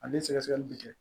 Ani sɛgɛsɛgɛli bi kɛ